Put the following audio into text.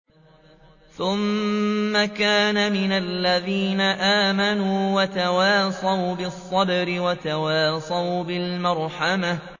ثُمَّ كَانَ مِنَ الَّذِينَ آمَنُوا وَتَوَاصَوْا بِالصَّبْرِ وَتَوَاصَوْا بِالْمَرْحَمَةِ